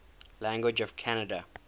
languages of canada